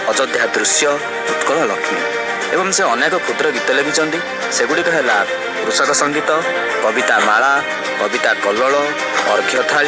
ଅଯୋଧ୍ୟା ଦୃଶ୍ୟ ଉତ୍କଳ ଲକ୍ଷ୍ମୀ ଏବଂ ସେ ଅନେକ କ୍ଷୁଦ୍ର ଗୀତ ଲେଖିଛନ୍ତି ସେଗୁଡିକ ହେଲା କୃଷକସଙ୍ଗୀତ କବିତା ମାଳା କବିତା କଲ୍ଲୋଳ ଅର୍ଘ୍ୟଥାଳି --